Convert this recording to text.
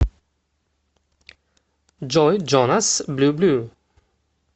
джой джонас блю блю